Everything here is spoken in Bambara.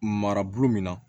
Marabolo min na